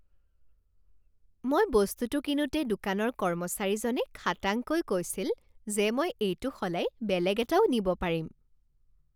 মই বস্তুটো কিনোতে দোকানৰ কৰ্মচাৰীজনে খাটাংকৈ কৈছিল যে মই এইটো সলাই বেলেগ এটাও নিব পাৰিম।